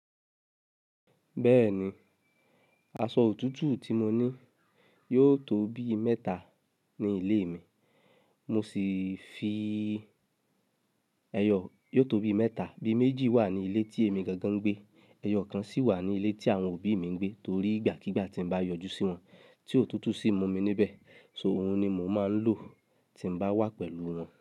Bẹ́ẹ̀ni, aṣọ òtútù tí mo ní yóò tó bí mẹ́ta ní ilé mi. Mo sì fi ẹyọ yóò tó bí mẹ́ta, bí méjì wà ní ilé tí èmi gangan ń gbé. Ẹyọ kan sì wà ní ilé tí àwọn òbí mi ń gbé torí ìgbàkígbà tí n bá yọjú sí wọn tí òtútù sì mú mi níbẹ̀. So òun ni mò ń máa ń lò tí n bá wà pẹ̀lú wọn.